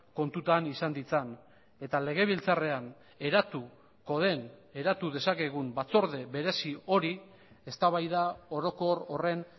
kontutan izan ditzan eta legebiltzarrean eratuko den eratu dezakegun batzorde berezi hori eztabaida orokor horren